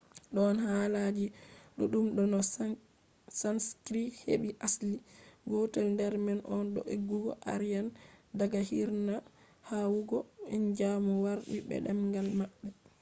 don haalaji duddum do no sanskrit hebi asli. gotel der man on do eggugo aryan daga hirna yahugo india mo wardi be demgal mabbe